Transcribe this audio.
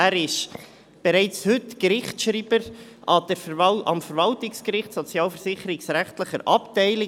Er ist bereits heute Gerichtsschreiber am Verwaltungsgericht, sozialversicherungsrechtliche Abteilung;